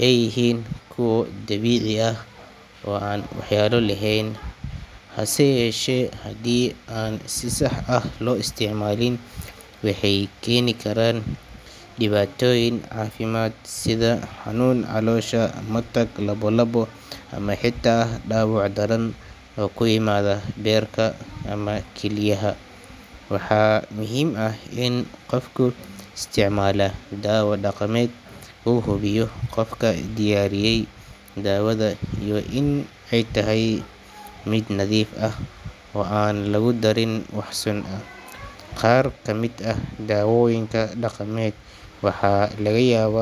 ay yihiin kuwo dabiici ah oo aan waxyeello lahayn, hase yeeshee, haddii aan si sax ah loo isticmaalin waxay keeni karaan dhibaatooyin caafimaad sida xanuun caloosha, matag, lalabo ama xitaa dhaawac daran oo ku yimaada beerka ama kilyaha. Waxaa muhiim ah in qofka isticmaala dawo dhaqameed uu hubiyo qofka diyaariyay daawada iyo in ay tahay mid nadiif ah oo aan lagu darin wax sun ah. Qaar ka mid ah daawooyinka dhaqameed waxaa laga yaabaa.